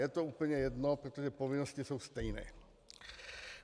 Je to úplně jedno, protože povinnosti jsou stejné.